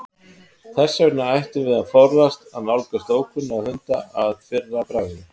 Þess vegna ættum við að forðast að nálgast ókunnuga hunda að fyrra bragði.